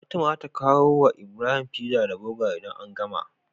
Fatima zata kawo wa Ibrahim pizza da burger idan an gama